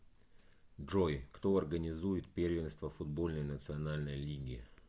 джой кто организует первенство футбольной национальной лиги